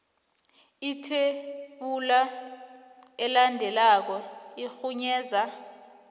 ithebula elandelako irhunyeza